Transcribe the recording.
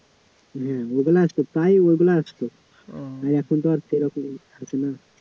হ্যাঁ ওগুলা আসত, প্রায় ওগুলা আসত এখন তো আর সেরকম আসে না